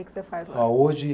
O que que você faz lá? Ah, hoje